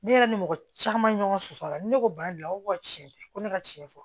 Ne yɛrɛ ni mɔgɔ caman ɲɔgɔn sɔsɔ la ne ko ba don a ko ko tiɲɛ tɛ ko ne ka tiɲɛ fɔ